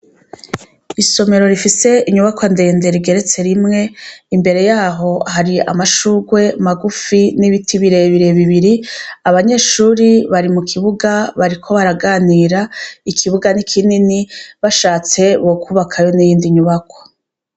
Isomero rifise inyubakwa ndende rigeretse rimwe imbere yaho hariho amashurwe magufi nibiti birebire bibiri abanyeshure bari mukibuga bariko baraganira ikibuga ni kinini bashatse bokubakayo niyindi nyubakwa